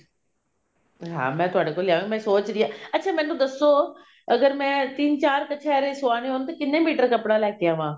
ਹਾਂ ਮੈਂ ਤੁਹਾਡੇ ਕੋਲ ਲੈ ਆਵਾਂਗੀ ਮੈਂ ਸੋਚ ਰਹੀ ਹਾਂ ਅੱਛਾ ਮੈਨੂੰ ਦੱਸੋ ਅਗਰ ਮੈਂ ਤਿੰਨ ਚਾਰ ਕਛੇਰੇ ਸਵਾਉਣੇ ਹੋਣ ਤਾਂ ਕਿੰਨੇ ਮੀਟਰ ਕੱਪੜਾ ਲੈਕੇ ਆਵਾਂ